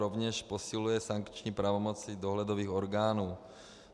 Rovněž posiluje sankční pravomoci dohledových orgánů.